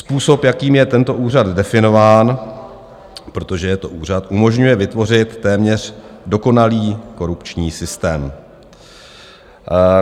Způsob, jakým je tento úřad definován, protože je to úřad, umožňuje vytvořit téměř dokonalý korupční systém.